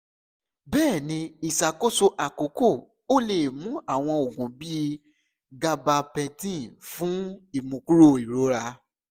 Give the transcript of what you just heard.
bẹ́ẹ̀ ni iṣakoso akọkọ o le mu awọn oogun bii gabapentin fun imukuro irora